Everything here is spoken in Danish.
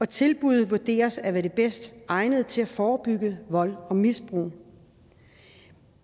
tilbuddet vurderes at være det bedst egnede til at forebygge vold og misbrug